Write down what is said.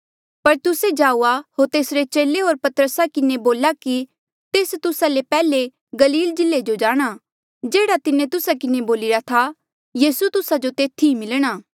पर तुस्से जाऊआ होर तेसरे चेले होर पतरसा किन्हें बोला कि तेस तुस्सा ले पैहले गलील जिल्ले जो जाणा जेह्ड़ा तिन्हें तुस्सा किन्हें बोलिरा था यीसू तुस्सा जो तेथी मिलणा